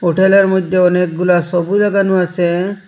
হোটেলের মইধ্যে অনেকগুলা সবি লাগানু আসে।